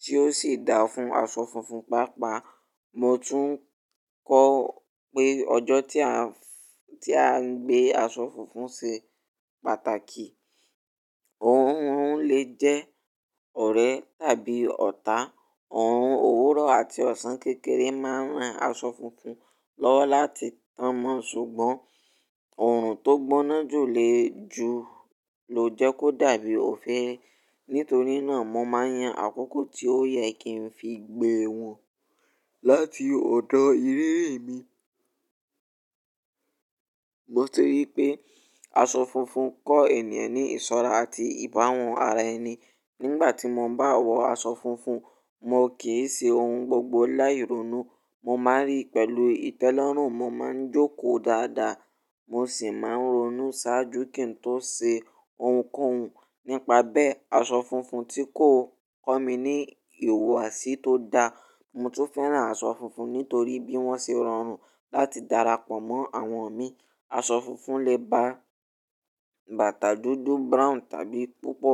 tí ó sì dáa fún aṣọ funfun. Pàápàá mò tún kọ́ pé ọjọ́ tí á ń gbé aṣọ funfun ṣe pàtàkì. Òhun òhun lè jẹ́ ọ̀rẹ́ tàbí ọ̀ta. Òorun òwúrọ̀ àti ọ̀sán kékeré máa ń ran aṣọ funfun lọ́wọ́ láti tàn mọ́ ṣùgbọ́n òòrùn tó gbóná jù ló jẹ́ kó dàbí òféèfé. Nítorí náà mò máa ń yan àkókò tí ó yẹ kí n fi gbé wọn láti ọ̀dọ̀ ìrírí mi. Mo ti rí pé aṣọ funfun kọ́ ènìyàn ní ìsọ́ra àti ìbáhun ara ẹni. Nígbà tí mò bá wọ aṣọ funfun, mò kì í ṣe òun gbogbo láì ronú. Mò máa ń rí pẹ̀lú ìtẹ́lọ́rùn, mò máa ń jókòó dáadáa, mò sì máa ń ronú ṣáájú kí n tó ṣe ohunkóhun. Nípa bẹ́ẹ̀, aṣọ funfun tí kò kọ́ mi ní ìhuwasi tó dáa. Mò tún féràn aṣọ funfun nítorí bí wọ́n ṣe rọrùn láti darapọ̀ mọ́ àwọn mi. Aṣọ funfun lè ba bàtà dúdú, brown tàbí púpọ̀.